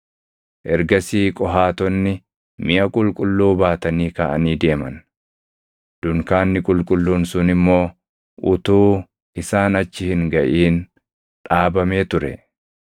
Ergasii Qohaatonni miʼa qulqulluu baatanii kaʼanii deeman. Dunkaanni qulqulluun sun immoo utuu isaan achi hin gaʼin dhaabamee ture.